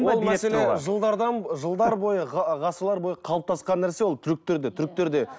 ол мәселе жылдардан жылдар бойы ғасырлар бойы қалыптасқан нәрсе ол түріктерде